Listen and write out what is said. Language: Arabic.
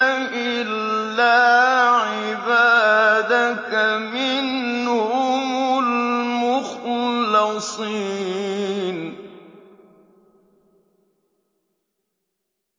إِلَّا عِبَادَكَ مِنْهُمُ الْمُخْلَصِينَ